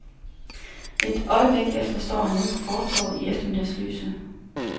Et øjeblik efter står han ude på fortovet i eftermiddagslyset.